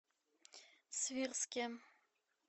свирске